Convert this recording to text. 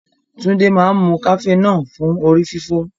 Tunde máa ń mu cafenol fún orí fífọ́.